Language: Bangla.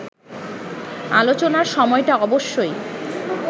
আলোচনার সময়টা অবশ্যই